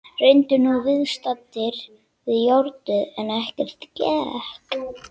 Reyndu nú viðstaddir við járnið en ekkert gekk.